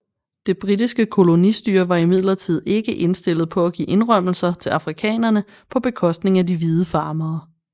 Det britiske kolonistyre var imidlertid ikke indstillet på at give indrømmelser til afrikanerne på bekostning af de hvide farmere